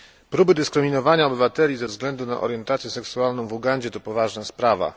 Próby dyskryminowania obywateli ze względu na orientację seksualną w Ugandzie to poważna sprawa.